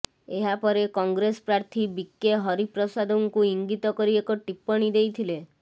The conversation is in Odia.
ଏହାପରେ କଂଗ୍ରେସ୍ ପ୍ରାର୍ଥୀ ବିକେ ହରିପ୍ରସାଦଙ୍କୁ ଇଙ୍ଗିତ କରି ଏକ ଟିପ୍ପଣୀ ଦେଇଥିଲେ